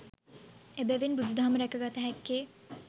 එබැවින් බුදුදහම රැක ගත හැක්කේ